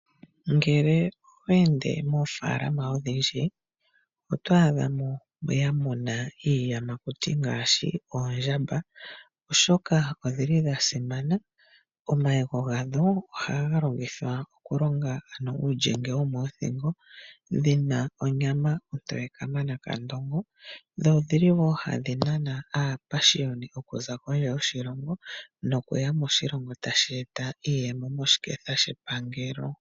Ngele oweende mofaalama odhindji otwaadha mo yamuna iiyamakuti ngaashi oondjamba oshoka odhili dhasimana. Omayego gadho ohaga longithwa okuninga uulyenge womoothingo, odhina onyama ontoye kamana kandongo dho odhili wo hadhi nana aapashiyoni okuza kondje yoshilongo tashi eta iiyemo moshiketha shepangelo.